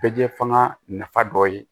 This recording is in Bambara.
Bɛ kɛ fanga nafa dɔ ye